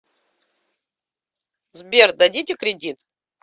сбер дадите кредит